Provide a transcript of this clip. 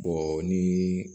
ni